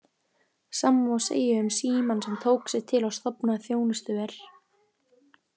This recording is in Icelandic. Sama má segja um Símann sem tók sig til og stofnaði „Þjónustuver“.